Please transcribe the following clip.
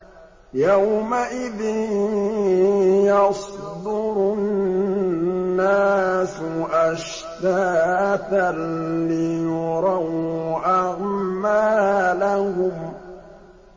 يَوْمَئِذٍ يَصْدُرُ النَّاسُ أَشْتَاتًا لِّيُرَوْا أَعْمَالَهُمْ